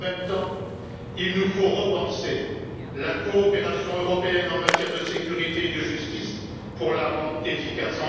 En même temps, il nous faut repenser la coopération européenne en matière de sécurité et de justice pour la rendre efficace.